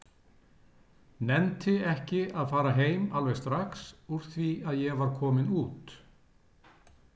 Nennti ekki að fara heim alveg strax úr því að ég var kominn út.